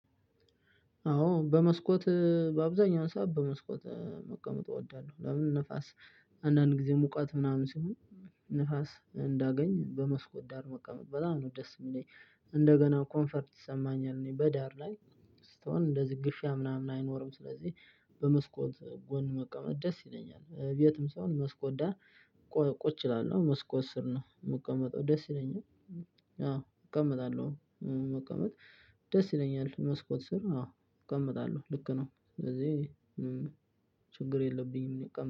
አዎ በመስኮት በአብዛኛውን ሰዓት በመስኮት መቀመጥ እወዳለሁ። ለምን ንፍስ አንድአንድ ጊዜ ሙቀት ምናምን ሲኖር ንፍስ እንዳገኝ በመስኮት ዳር መቀመጥ በጣም ነው ደስ የሚለኝ። እንደገናም 'ኮንፈርት' ይሰማኛል በዳር ላይ ስትሆን እንደዚህ ግፊያ ምናምን አይኖርም። ስለዚህ በስኮት ዳር ስሆን ደስ ይለኛል። ቤትም ስሆን መስኮት ዳር ቁጭ እላለሁ። መስኮት ስር ነው የምቀመጠው ደስ ይለኛል። አዎ እቀመጣለሁ። መቀመጥ ደስ ይለኛል መስኮት ስር አዎ እቀመጣለሁ። ስለዚህ እኔ ችግር የለብኝም እኔ እቀመጣለሁ።